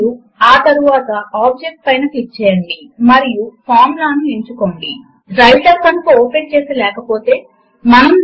Math ను వినియోగించి create చేసిన సూత్రములు మరియు సమీకరణములను మాత్రమే లిబ్రేఆఫీస్ సూట్ లో ఉంచగలము లేదా వినియోగించుకోలగము